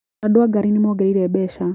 Andũ a gari nĩmongereire mbeca.